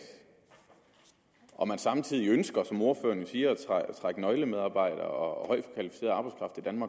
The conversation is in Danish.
og man samtidig ønsker som ordføreren jo siger at trække nøglemedarbejdere